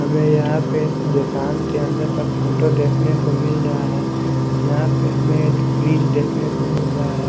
हमे यहां पे दुकान के अंदर का फोटो देखने को मिल रहा हैं यहां पे हमें एक फ्रिज देखने को मिल रहा हैं।